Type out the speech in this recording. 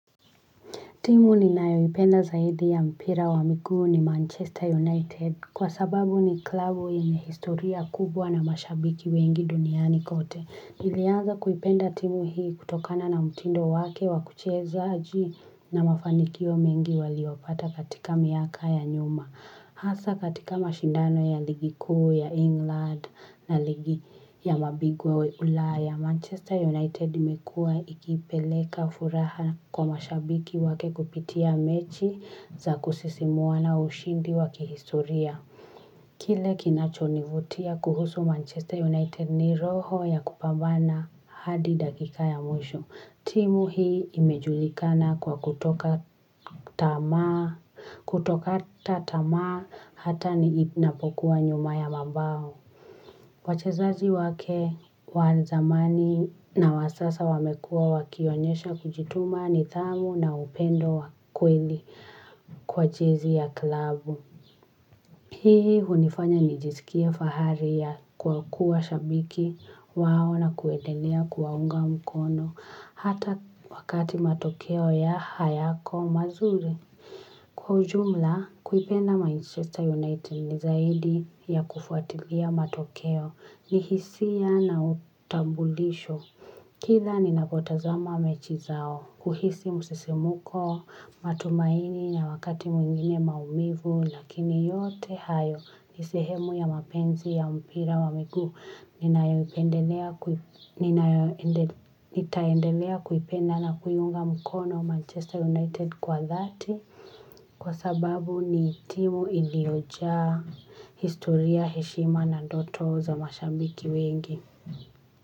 Timu ninayoipenda zaidi ya mpira wa miguu ni Manchester United. Kwa sababu ni klabu yenye historia kubwa na mashabiki wengi duniani kote. Nilianza kuipenda timu hii kutokana na mtindo wake wa kucheza na mafanikio mengi waliopata katika miaka ya nyuma. Hasa katika mashindano ya ligi kuu ya England na ligi ya mabingwa Ulaya, Manchester United imekuwa ikipeleka furaha kwa mashabiki wake kupitia mechi za kusisimua na ushindi wa kihistoria. Kile kinachonivutia kuhusu Manchester United ni roho ya kupambana hadi dakika ya mwisho. Timu hii imejulikana kwa kutoka tamaa kutoka kata tamaa hata ni inapokuwa nyuma ya mabao. Wachezaji wake wa zamani na wasasa wamekuwa wakionyesha kujituma nidhamu na upendo wa kweli kwa jezi ya klabu. Hii hunifanya nijisikie fahari ya kwa kuwa shabiki wao na kuendelea kuwaunga mkono hata wakati matokeo ya hayako mazuri. Kwa ujumla, kuipenda Manchester United ni zaidi ya kufuatilia matokeo ni hisia na utambulisho. Kila ninapotazama mechi zao, uhisi msisimko, matumaini na wakati mwingine maumivu, lakini yote hayo ni sehemu ya mapenzi ya mpira wa miguu, ninayopendelea nitaendelea kuipenda na kuiunga mkono Manchester United kwa dhati, kwa sababu ni timu iliojaa historia heshima na ndoto za mashabiki wengi.